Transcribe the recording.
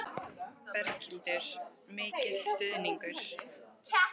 Berghildur: Mikil stuðningur?